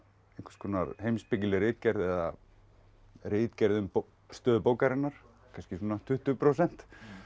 einhvers konar heimspekileg ritgerð eða ritgerð um stöðu bókarinnar kannski tuttugu prósent